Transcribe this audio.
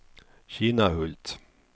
Kinnahult